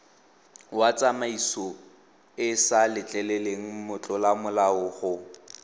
wa tsamaisoeesa letleleleng motlolamolao go